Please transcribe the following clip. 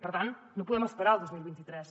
per tant no podem esperar al dos mil vint tres